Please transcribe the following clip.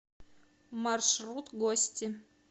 маршрут гости